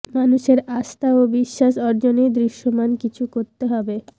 মানুষের আস্থা ও বিশ্বাস অর্জনে দৃশ্যমান কিছু করতে হবে